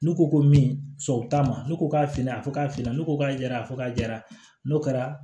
N'u ko ko min sɔn t'a ma ne ko k'a fili a fɔ k'a fili ne ko k'a jɛra ko k'a diyara n'o kɛra